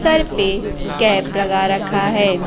Sir पे cap लगा रखा है।